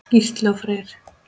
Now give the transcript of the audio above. Gísli og Freyr.